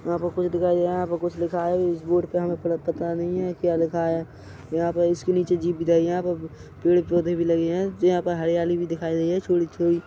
यहाँ पर कुछ दिखाई दे रहा है यहाँ पर कुछ लिखा है इस बोर्ड पर हमें पता नहीं है क्या लिखा है यहाँ पर इसके नीचे जिब जाईया यहाँ पे पेड पौधे भी लगे है यहाँ पर हरियाली भी दिखाई दे रही है थोड़ी थोड़ी--